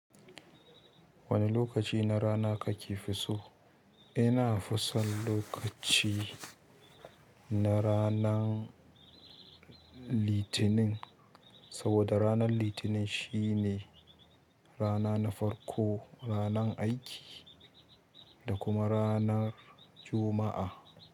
Wani lokaci na rana ka ke fi so? Ina fi son lokaci na ranan Litinin, saboda ranan Litinin shine rana na farko, ranan aiki da kuma ranan Juma'a.